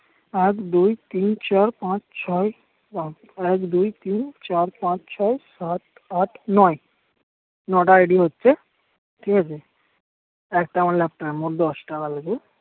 এক দুই তিন চার পাঁচ ছয় বাবা এক দুই তিন চার পাঁচ ছয় সাত আট নয় নটা ID হচ্ছে ঠিক আছে একটা আমার লেপ্টপে মোট দস্তা কালকে